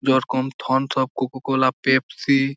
যরকম Thums Up Coca Cola Pepsi.